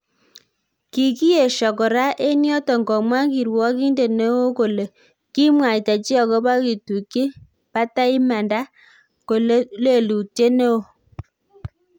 Kikiyesio kora en yoton komwa kiruogindet neo kole: "Kemwaita chi agobo kitukyi batai imanda ko lelutiet ne oo.